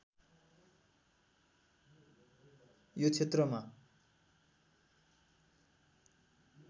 यो क्षेत्रमा